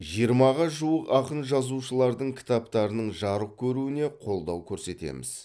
жиырмаға жуық ақын жазушылардың кітаптарының жарық көруіне қолдау көрсетеміз